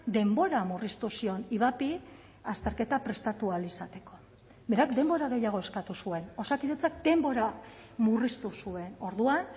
denbora murriztu zion ivapi azterketa prestatu ahal izateko berak denbora gehiago eskatu zuen osakidetzak denbora murriztu zuen orduan